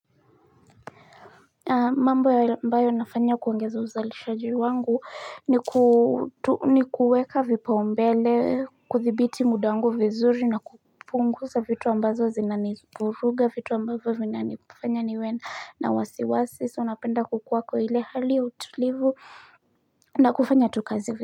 Mambo ambayo nafanya kuongeza uzalishaji wangu ni ku ni kuweka vipaumbele, kuthibiti muda wangu vizuri na kupunguza vitu ambazo zinanivuruga, vitu ambazo zinanifanya niwe na wasiwasi. So napenda kukuwa kwa ile hali ya utulivu na kufanya tu kazi.